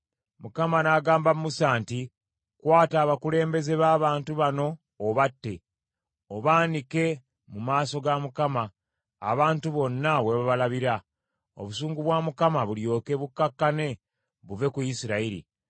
Mukama n’agamba Musa nti, “Kwata abakulembeze b’abantu bano obatte, obaanike mu maaso ga Mukama abantu bonna we babalabira, obusungu bwa Mukama bulyoke bukkakkane buve ku Isirayiri.”